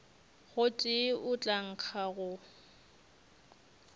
gotee go tla nkga go